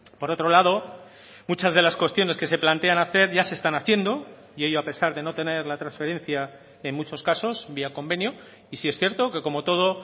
por otro lado muchas de las cuestiones que se plantean hacer ya se están haciendo y ello a pesar de no tener la transferencia en muchos casos vía convenio y sí es cierto que como todo